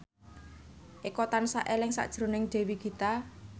Eko tansah eling sakjroning Dewi Gita